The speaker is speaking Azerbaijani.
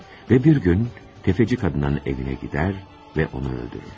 Və bir gün sələmçi qadının evinə gedir və onu öldürür.